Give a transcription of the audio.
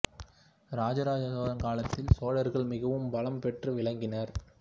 இராஜராஜ சோழன் காலத்தில் சோழர்கள் மிகவும் பலம் பெற்று விளங்கினர்